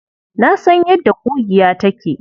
Na san yadda ƙugiya take.